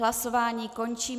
Hlasování končím.